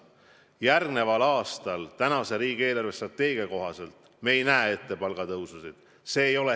Järgmisel aastal me riigi eelarvestrateegia kohaselt palgatõususid ette ei näe.